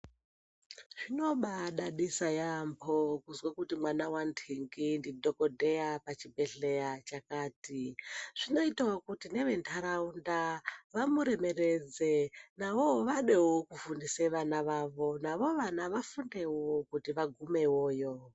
Zvinobaadadisa yaamho kuzwa kuti mwana wanhingi ndidhokodheya pachibhedhlera chakati. Zvinoitawo kuti nevenharaunda vamuremeredze navawo vadewo kufundisa vana vavo navo vana vafundewo vagumewoyo.